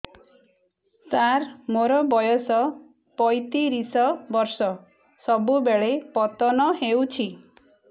ସାର ମୋର ବୟସ ପୈତିରିଶ ବର୍ଷ ସବୁବେଳେ ପତନ ହେଉଛି